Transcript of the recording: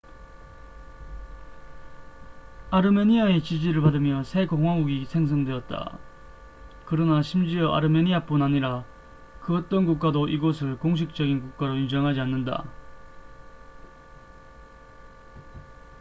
아르메니아의 지지를 받으며 새 공화국이 생성되었다 그러나 심지어 아르메니아뿐 아니라 그 어떤 국가도 이곳을 공식적인 국가로 인정하지 않는다